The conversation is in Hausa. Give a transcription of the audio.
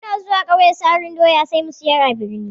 Muna zuwa ƙauye sarin doya sai mu siyar a birni.